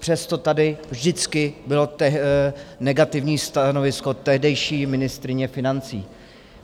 Přesto tady vždycky bylo negativní stanovisko tehdejší ministryně financí.